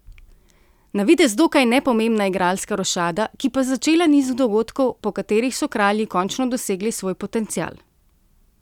Na videz dokaj nepomembna igralska rošada, ki pa začela niz dogodkov, po katerih so Kralji končno dosegli svoj potencial.